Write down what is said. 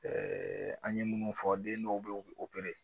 an ye minnu fɔ den dɔw bɛ yen u bɛ